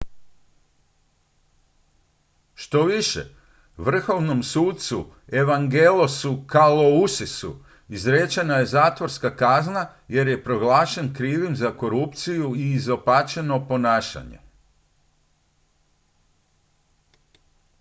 štoviše vrhovnom sucu evangelosu kalousisu izrečena je zatvorska kazna jer je proglašen krivim za korupciju i izopačeno ponašanje